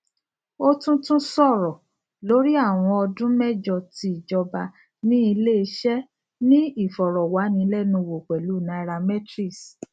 o tun tun sọrọ lori awọn ọdun mẹjọ ti ijọba ni ileiṣẹ ni ifọrọwanilẹnuwo pẹlu nairametrics